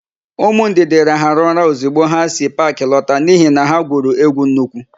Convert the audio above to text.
Ụmụ Ndidi rahara ụra ọzigbo ha si paakị lọta n'ihi na ha gwuru égwú nnukwu.